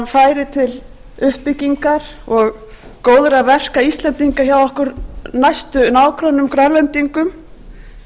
færi til uppbyggingar og góðra verka íslendinga hjá okkar næstu nágrönnum grænlendingum